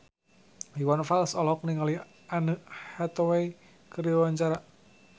Iwan Fals olohok ningali Anne Hathaway keur diwawancara